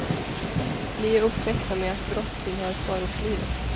Vi är uppväxta med att brott tillhör förortslivet.